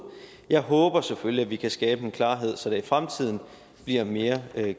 jeg håber selvfølgelig at vi kan skabe en klarhed så der i fremtiden bliver mere